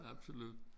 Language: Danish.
Absolut